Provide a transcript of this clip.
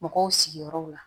Mɔgɔw sigiyɔrɔw la